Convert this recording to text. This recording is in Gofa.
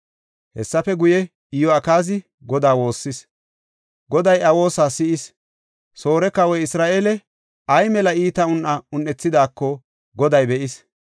Hessafe guye, Iyo7akaazi Godaa woossis. Goday iya woosa si7is; Soore kawoy Isra7eele ay mela iita meton un7ethidaako Goday be7is.